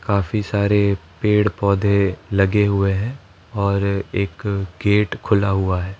काफी सारे पेड़ पौधे लगे हुए हैं और एक गेट खुला हुआ है।